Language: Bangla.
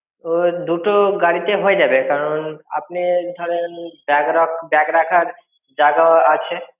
দুটো গাড়িতে হয়ে যাবে কারণ আপনি ধরেন bag রাখ~ bag রাখার জায়গাও আছে।